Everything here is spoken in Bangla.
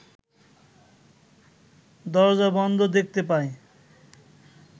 দরজা বন্ধ দেখতে পায়